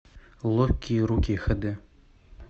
ловкие руки хд